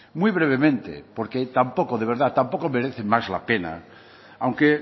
muy brevemente porque tampoco de verdad tampoco merece más la pena aunque